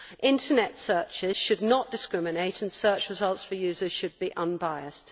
Internet searches should not discriminate, and search results for users should be unbiased.